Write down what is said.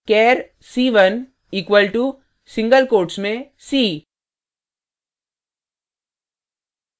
char c1 equal to single quotes में c